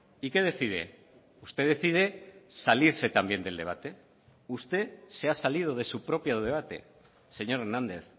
y qué decide usted decide salirse también del debate usted se ha salido de su propio debate señor hernández